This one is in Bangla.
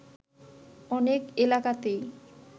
অনেক এলাকাতেই